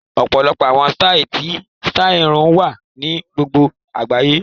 Ọ̀pọ̀lọpọ̀ àwọn sítáì ti sítáì irun wà ní gbogbo àgbáyé